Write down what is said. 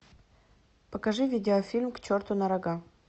покажи видеофильм к черту на рога